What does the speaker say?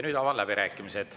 Avan läbirääkimised.